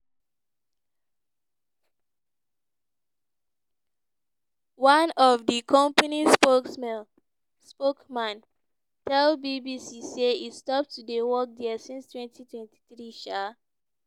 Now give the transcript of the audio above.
one of di company spokesman tell bbc say e stop to dey work dia since 2023. um